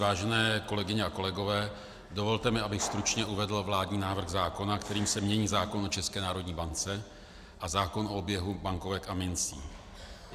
Vážené kolegyně a kolegové, dovolte mi, abych stručně uvedl vládní návrh zákona, kterým se mění zákon o České národní bance a zákon o oběhu bankovek a mincí.